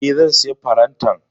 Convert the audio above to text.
E, zan sayi farantan.